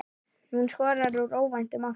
Hún skoraði úr óvæntum áttum.